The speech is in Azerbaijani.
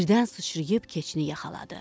Birdən sıçrayıb keçini yaxaladı.